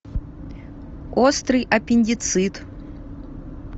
острый аппендицит